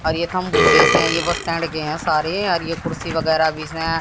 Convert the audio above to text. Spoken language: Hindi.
और ये ये बस स्टैंड के हैं सारे और ये कुर्सी वगैरह भी इसमें हैं।